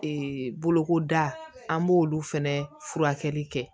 bolokoda an b'olu fɛnɛ furakɛli kɛ